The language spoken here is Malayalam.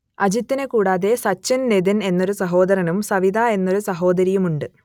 അജിതിനെ കൂടാതെ സച്ചിന് നിതിൻ എന്നൊരു സഹോദരനും സവിത എന്നൊരു സഹോദരിയുമുണ്ട്